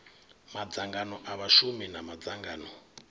madzangano a vhashumi na madzangano